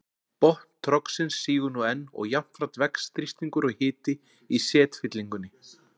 Botn trogsins sígur nú enn og jafnframt vex þrýstingur og hiti í setfyllingunni.